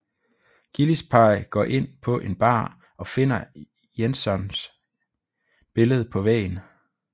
Gillespie går ind på en bar og finder Jensons billede på væggen